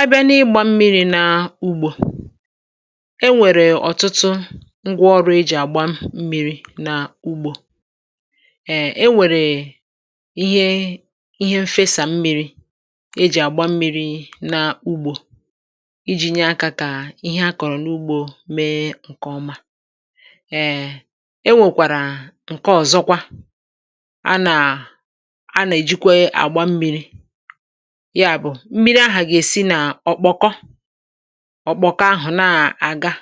Àbị̀à n’ị̀gbà mmìriì nàà ùgbò è nwèrè ọ̀tụ̀tụ̀ ngwà ọ̀rụ̀ èjì àgbà mmìrì nà ùgbò um è nwèrè ìhè ìhè mfèsà mmìrì èjì àgbà mmìrì nà ùgbò íjí nyè àkà kà ihe akọ̀rọ̀ n’ugbò mèè ǹkèọ̀mà. um È nwèkwàrà ǹkè ọ̀zọ̀kwà à nà à nà-èjìkwè àgbà mmìrì yàbụ̀ mmìrì àhà gà-èsì nà ọ̀kpọ̀kọ́ ọ̀kpọ̀kọ́ àhụ̀ nà-àgà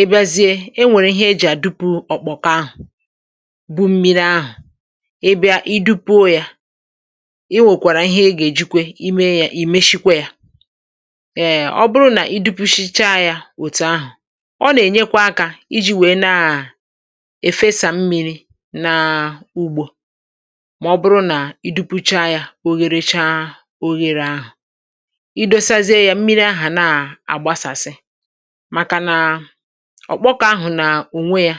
ị̀ bị̀àzìè è nwèrè ìhè è jì àdùpù ọ̀kpọ̀kọ́ àhụ̀ bú mmìrì àhụ̀ ị́ bị̀à i dùpùò yà, ị nwèkwàrà ìhè ègèjìkwè ìmé yà ì mèshìkwè à um ọ̀ bụ̀rụ̀ nà ì dùpùshìchá yà òtù àhụ̀, ọ̀ nà-ènyèkwà àkà ìjì wèè nà èfésá mmìrì nàà ùgbò mà ọ̀ bụ̀rụ̀ nà ì dùpùchà yà ò yèlèchàà oyèlè àhụ̀, ị̀ dèsàzìè yà mmìrì àhụ̀ nà-àgbàsàsị̀ màkànà ọ̀kpọ̀kọ́ àhụ̀ nà ònwè yà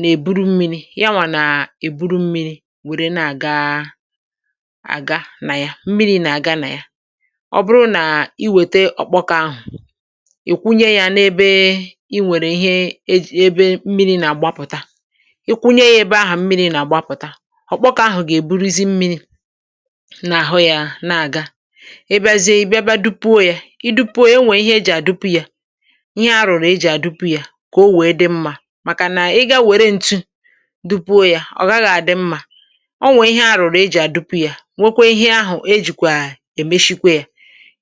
nà-èbùrù mmìrì, yà nwà nà-èbùrù mmìrì nwèrè nà-àgàà àgà nà yà, mmìrì nà-àgà nà yà. Ọ̀ bụ̀rụ̀ nà ị̀ wètè ọ̀kpọ̀kọ́ àhụ̀ ị̀kwụ̀nyè yà n’èbè í nwèrè ìhè èjì èbè mmìrì nà-àgbàpụ̀tà, ị́ kwụ̀nyè yà èbè àhụ̀ mmìrì nà-àgbàpụ̀tà, ọ̀kpọ̀kọ́ àhụ̀ gèbùrìzí mmìrì n’àhụ̀ yà nà-àgà, ị̀bị̀azìè ị́ bị̀àbị̀a dùpùò yà ị̀dùpùò yà è nwèè ìhè èjì àdùpù yà ihe à rụ̀rụ̀ è jì àdùpù yà kà ọ̀ wèè dị̀ mmà màkà nà ị́ gà wèrè ǹtù dùpùò yà ọ̀ ghàghà àdị́ mmà, o nwèè ìhè àrụ̀rụ̀ è jì àdùpù yà nwèkwè ìhè àhụ̀ èjìkwà èmèshìkwè yà.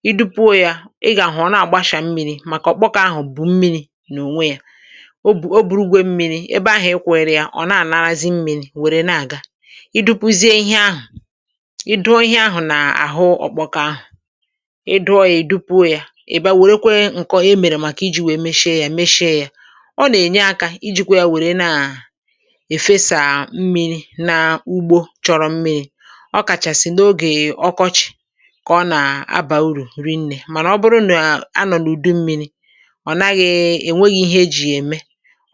Ị̀ dùpùò yà ị̀ gà-àhụ̀ ọ̀ nà-àgbàshà mmìrì màkà ọ̀kpọ̀kọ̀ àhụ̀ bù mmìrì n’ònwè yà ò bù o bùrùgò mmìrì, èbè àhụ̀ ị̀kwụ̀lia ọ̀ nà-ànàràzị̀ mmìrì wèrè nà-àgà. Ị̀dùpùzìè ìhè àhụ̀ ị̀ dụ̀ọ̀ ìhè àhụ̀ nà àhụ̀ ọ̀kpọ̀kọ̀ àhụ̀ ị dụọ yȧ ị̀ dùpùò yà ị̀ bị̀à wèrèkwè nkọ̀ è mèrè màkà ìjì wèè mèshìè yà mèshìè yà, ọ̀ nà-ènyè àkà ìjìkwè wèrè nà-èfèsà mmìrì n’ùgbò chọ̀rọ̀ mmìrì ọ̀ kàchàsị̀ nà ògè ọ̀kọ̀chị̀ kà ọ̀ nà-àbà ùrù rìnnè mànà ọ̀ bụ̀rụ̀ nà ànọ̀ n’ùdù mmìrì ọ̀ nàghị̀ ènwèghị̀ ìhè è jì yà èmè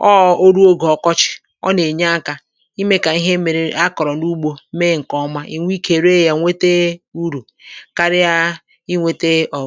ọ̀ọ̀ ò rùò ògè ọ̀kọ̀chị̀ ọ̀ nà-ènyè àkà ìmè kà ìhè mèrè à kọ̀rọ̀ n’ùgbò mèè ǹkè ọ̀mà ènwè ìkè rèè yà nwètè ùrù kàrị̀à ịnwete ọ̀wọ̀